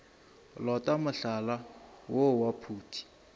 lota mohlala woo wa phuti